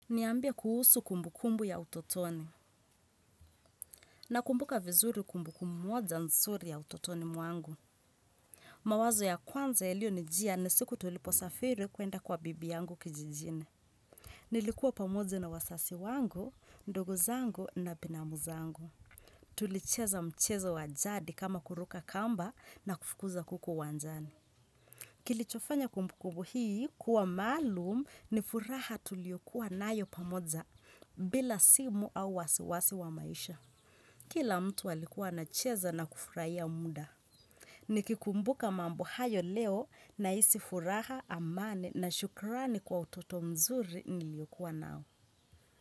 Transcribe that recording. Niambie kuhusu kumbukumbu ya utotoni. Nakumbuka vizuri kumbukumu moja nsuri ya utotoni mwangu. Mawazo ya kwanza yalionijia ni siku tuliposafiri kuenda kwa bibi yangu kijijine. Nilikuwa pamoje na wasasi wangu, ndugu zangu na binamu zangu. Tulicheza mchezo wa jadi kama kuruka kamba na kufukuza kuku uwanjani. Kilichofanya kumbukubu hii kuwa maalum ni furaha tuliyokuwa nayo pamoja bila simu au wasiwasi wa maisha. Kila mtu alikuwa anacheza na kufurahia mda. Nikikumbuka mambo hayo leo naisi furaha amane na shukurani kwa utoto mzuri niliyokuwa nao.